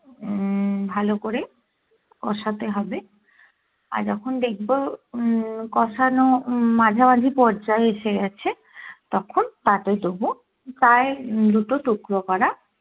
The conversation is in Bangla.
উম ভালো করে কষাতে হবে আর যখন দেখবো উম কষানো উম মাঝামাঝি পর্যায়ে এসে গেছে তখন তাতে দেবো প্রায় দুটো টুকরো করা